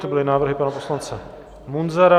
To byly návrhy pana poslance Munzara.